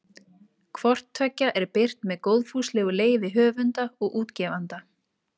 Hvort tveggja er birt með góðfúslegu leyfi höfunda og útgefanda.